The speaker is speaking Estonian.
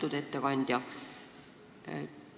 Lugupeetud ettekandja!